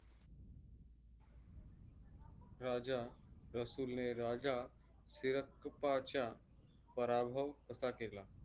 राजा रसूल ने राजा सिरकप्पाच्या पराभव कसा केला?